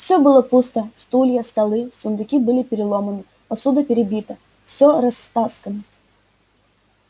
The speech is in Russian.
все было пусто стулья столы сундуки были переломаны посуда перебита все растаскано